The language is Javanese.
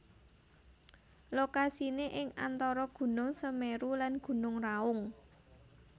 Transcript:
Lokasiné ing antara Gunung Semeru lan Gunung Raung